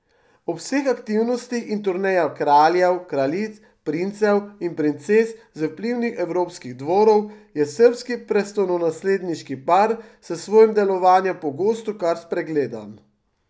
Ob vseh aktivnostih in turnejah kraljev, kraljic, princev in princes z vplivnih evropskih dvorov je srbski prestolonasledniški par s svojim delovanjem pogosto kar spregledan.